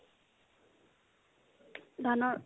ধানৰ